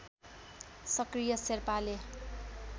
सक्रिय शेर्पाले